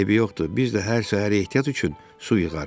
Eybi yoxdur, biz də hər səhər ehtiyat üçün su yığarıq.